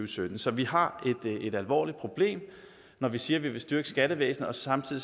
sytten så vi har et alvorligt problem når vi siger at vi vil styrke skattevæsenet og samtidig